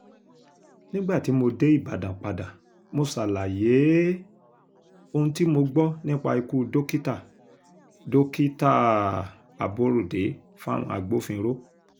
nígbà tí mo dé ìbàdàn padà mo ṣàlàyé um ohun tí mo gbọ́ nípa ikú dókítà dókítà um aborode fáwọn agbófinró